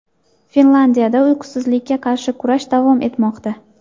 Finlyandiyada uysizlikka qarshi kurash davom etmoqda.